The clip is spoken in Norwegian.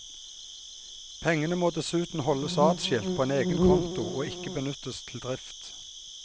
Pengene må dessuten holdes adskilt på egen konto og ikke benyttes til drift.